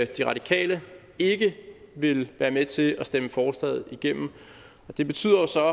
de radikale ikke vil være med til at stemme forslaget igennem det betyder jo så